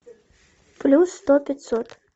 плюс сто пятьсот